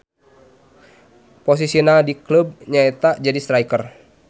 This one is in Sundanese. Posisina di kleub nya eta jadi striker.